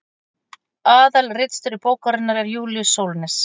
aðalritstjóri bókarinnar er júlíus sólnes